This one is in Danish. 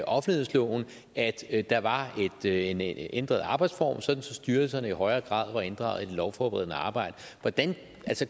offentlighedsloven altså at der var en ændret arbejdsform sådan at styrelserne i højere grad var inddraget i det lovforberedende arbejde